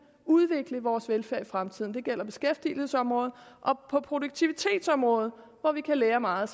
udvikle vores velfærd i fremtiden det gælder beskæftigelsesområdet og produktivitetsområdet hvor vi kan lære meget